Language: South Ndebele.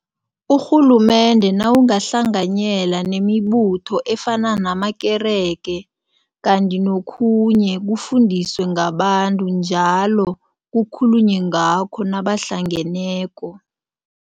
Urhulumende nawungahlanganyela nemibutho efana namakerege kanti nokhunye kufundiswe ngabantu njalo, kukhulunywe ngakho nabahlangeneko.